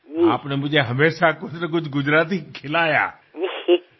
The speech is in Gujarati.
આપે મને કંઈને કંઈ ગુજરાતી ખવડાવ્યું